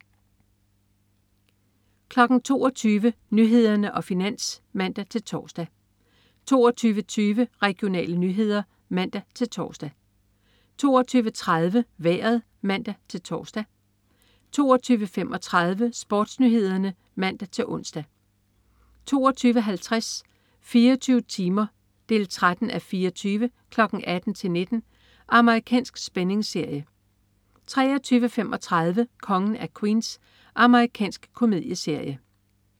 22.00 Nyhederne og Finans (man-tors) 22.20 Regionale nyheder (man-tors) 22.30 Vejret (man-tors) 22.35 SportsNyhederne (man-ons) 22.50 24 timer 13:24. 18:00-19:00. Amerikansk spændingsserie 23.35 Kongen af Queens. Amerikansk komedieserie